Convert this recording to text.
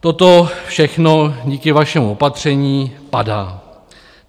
Toto všechno díky vašemu opatření padá.